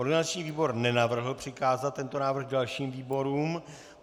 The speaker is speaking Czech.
Organizační výbor nenavrhl přikázat tento návrh dalším výborům.